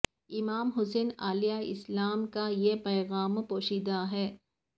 امام حسین علیہ السلام کا یہ پیغام پوشیدہ ا ہے